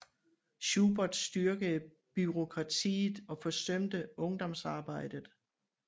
Schubert styrkede bureaukratiet og forsømte ungdomsarbejdet